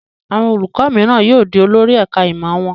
Àwọn olùkọ́ní mìíràn yóò di olórí ẹ̀ka-ìmọ̀ wọn.